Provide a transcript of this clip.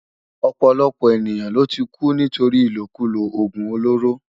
Òpòlòpò éniyán ló ti kú nitóri ilókúló ógún ólóró